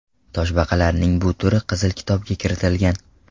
Toshbaqalarning bu turi Qizil kitobga kiritilgan.